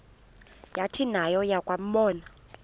yathi nayo yakuwabona